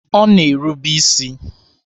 Ọ na-erube isi.